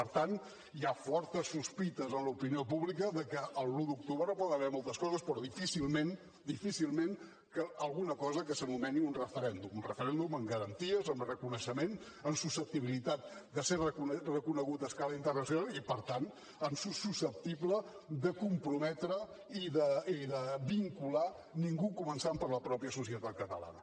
per tant hi ha fortes sospites en l’opinió pública de que l’un d’octubre hi poden haver moltes coses però difícilment difícilment alguna cosa que s’anomeni un referèndum un referèndum amb garanties amb reconeixement amb susceptibilitat de ser reconegut a escala internacional i per tant de ser susceptible de comprometre i de vincular ningú començant per la mateixa societat catalana